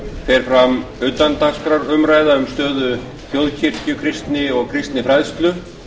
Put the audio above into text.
fer fram utandagskrárumræða um stöðu þjóðkirkju kristni og kristinfræðslu